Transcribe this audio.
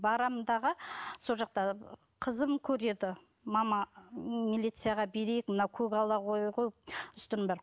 барам дағы сол жақта қызым көреді мама милицияға берейік мына көгала қой ғой үстіңнің бәрі